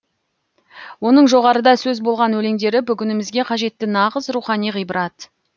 оның жоғарыда сөз болған өлеңдері бүгінімізге қажетті нағыз рухани ғибрат